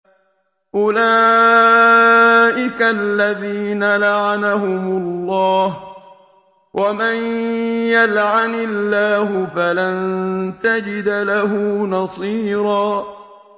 أُولَٰئِكَ الَّذِينَ لَعَنَهُمُ اللَّهُ ۖ وَمَن يَلْعَنِ اللَّهُ فَلَن تَجِدَ لَهُ نَصِيرًا